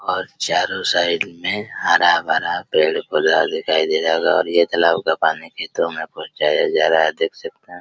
और चारों साइड में हरा-भरा पेड़-पौधा दिखाई दे रहा होगा और ये तालाब का पानी खेतों में पहुंचाया जा रहा है देख सकते हैं।